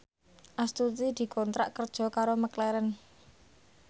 Astuti dikontrak kerja karo McLaren